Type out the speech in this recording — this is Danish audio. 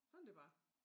Sådan det bare